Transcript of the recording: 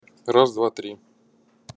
раз-два-три